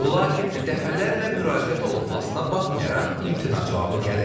Lakin dəfələrlə müraciət olunmasına baxmayaraq imtina cavabı gəlir.